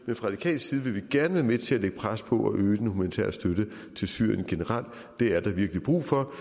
men fra radikal side vil vi gerne være med til at lægge pres på at øge den humanitære støtte til syrien generelt det er der virkelig brug for